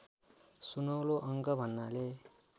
सुनौलो अङ्क भन्नाले